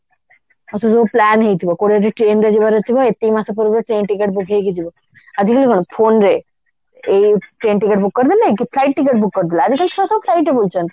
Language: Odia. ଆଉ ସେଇସବୁ plan ହେଇଥିବ କଉଠି ଯଦି train ରେ ଯିବାର ଥିବ ଏତିକି ମାସ ପୂର୍ବରୁ train ticket book ହେଇକି ଯିବ ଆଜିକାଲି କଣ phone ରେ ଏଇ train ticket book କରିଦେଲେ କି flight ticket book କରିଦେଲେ ଆଜିକାଲି ଛୁଆ ସବୁ flight ରେ ବୁଲୁଛନ୍ତି